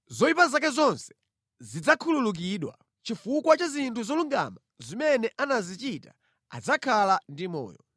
Zoyipa zake zonse zidzakhululukidwa. Chifukwa cha zinthu zolungama zimene anazichita adzakhala ndi moyo.